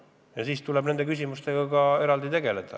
Ja siis tuleb nende küsimustega eraldi tegeleda.